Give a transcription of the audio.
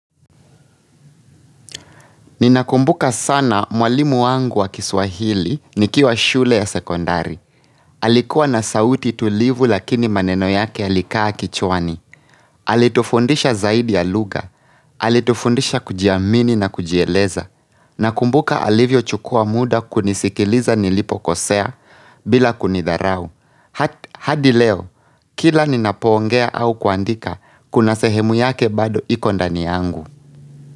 Ninakumbuka sana mwalimu wangu wa kiswahili nikiwa shule ya sekondari. Alikuwa na sauti tulivu lakini maneno yake yalikaa kichwani. Alitufundisha zaidi ya lugha. Alitufundisha kujiamini na kujieleza. Nakumbuka alivyochukua muda kunisikiliza nilipokosea bila kunidharau. Hadi leo, kila ninapoongea au kuandika, kuna sehemu yake bado iko ndani yangu.